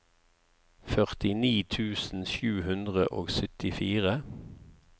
førtini tusen sju hundre og syttifire